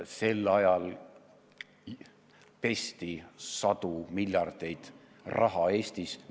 Sel ajal olevat pestud sadu miljardeid raha Eestis.